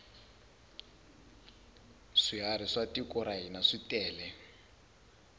swiharhi swa tiko ra hina switele